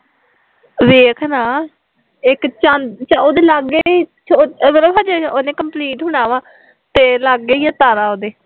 ਵੇਖ ਨਾ ਇੱਕ ਚੰਦ ਉਹਦੇ ਲਾਗੇ ਉਹ ਨਾ ਉਹਨੇ ਅਜੇ ਕੰਪਲੀਟ ਹੋਣਾ ਵਾ, ਤੇ ਲਾਗੇ ਈ ਐ ਤਾਰਾ ਉਹਦੇ